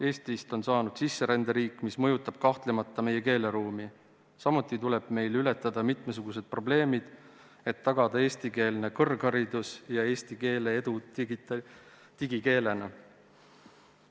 Eestist on saanud sisseränderiik, mis mõjutab kahtlemata meie keeleruumi, samuti tuleb meil ületada mitmesugused probleemid, et tagada eestikeelne kõrgharidus ja eesti keele edu digikeelena.